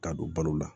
K'a don balo la